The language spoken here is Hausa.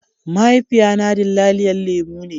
Mahaifiya na dillaliyan lemu ne.